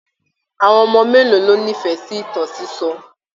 Àwọn ọmọ mélòó ló n'ifẹ sí ìtàn sisọ?